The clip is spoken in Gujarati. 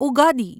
ઉગાડી